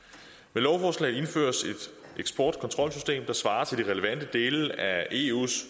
med lovforslaget indføres et eksportkontrolsystem der svarer til de relevante dele af eus